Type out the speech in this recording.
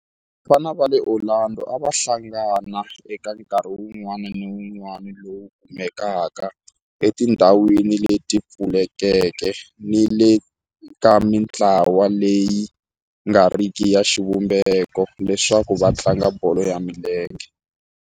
Vafana va le Orlando a va hlangana eka nkarhi wun'wana ni wun'wana lowu kumekaka etindhawini leti pfulekeke ni le ka mintlawa leyi nga riki ya xivumbeko leswaku va tlanga bolo ya milenge.